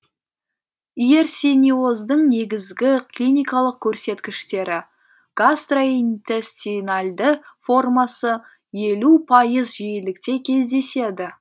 иерсиниоздың негізгі клиникалық көрсеткіштері гастроинтестинальді формасы елу пайыз жиілікте кездеседі